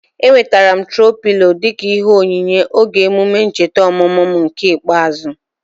Enwetere m troo pịlo dịka ihe onyinye oge emume ncheta ọmụmụ m nke ikpeazụ